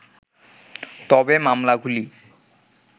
তবে মামলাগুলি